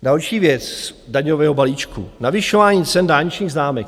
Další věc daňového balíčku, navyšování cen dálničních známek.